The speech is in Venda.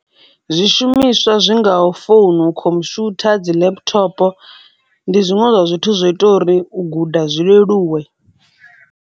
Zwishumiswa zwi ngaho founu, khomushutha, dzi laptop ndi zwiṅwe zwa zwithu zwo ita uri u guda zwi leluwe.